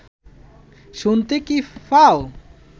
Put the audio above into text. শুনতে কি পাও